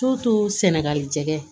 sɛnɛgali jɛgɛ